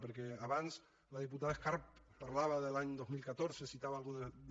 perquè abans la diputada escarp parlava de l’any dos mil catorze citava alguna cosa de